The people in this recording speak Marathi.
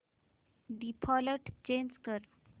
डिफॉल्ट चेंज कर